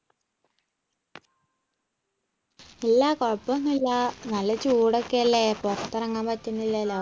ഇല്ല കുഴപ്പമൊന്നുമില്ല നല്ല ചൂടൊക്കെയല്ലേ പുറത്തിറങ്ങാൻ പറ്റുന്നില്ലല്ലോ